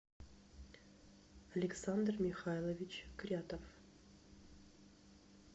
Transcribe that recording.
александр михайлович крятов